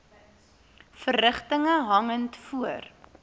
verrigtinge hangend voor